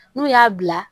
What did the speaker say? N'u y'a bila